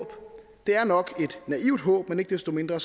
det er nok et naivt håb men ikke desto mindre